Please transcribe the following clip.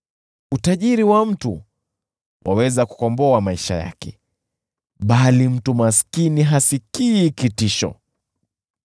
Utajiri wa mtu waweza kukomboa maisha yake, bali mtu maskini hasikii kitisho.